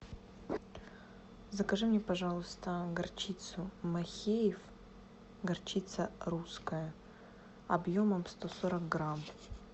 закажи мне пожалуйста горчицу махеев горчица русская объемом сто сорок грамм